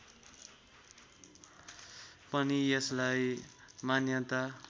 पनि यसलाई मान्यता